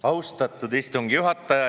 Austatud istungi juhataja!